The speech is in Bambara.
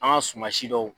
An ka suman si dɔw